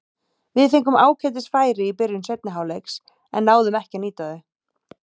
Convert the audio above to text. Við fengum ágætis færi í byrjun seinni hálfleiks en náðum ekki að nýta þau.